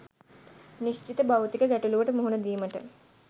නිශ්චිත භෞතික ගැටළුවට මුහුණ දීමට